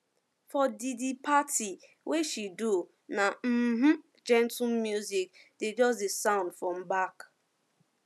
for di di party wey she do na um gentle traditional music dey just dey sound from back